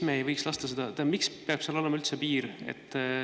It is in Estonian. Miks seal peab siis üldse olema mingi piir?